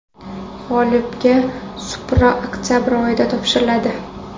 G‘olibga Supra oktabr oyida topshiriladi.